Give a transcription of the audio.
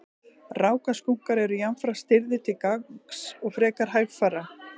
rákaskunkar eru jafnframt stirðir til gangs og frekar hægfara